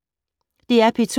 DR P2